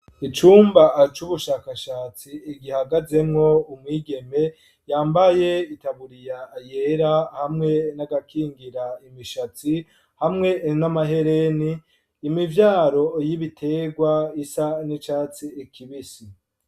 Icumba c'ubushakashatsi gihagazemwo umwigeme yambaye itaburiya yera hamwe n'agakingira imishatsi hamwe n'amahereni imivyaro y'ibitegwa isa n'icatsi kibisi.